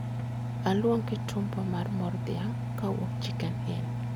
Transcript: Aluong kitumbua mar mor dhiang' kowuok chicken inn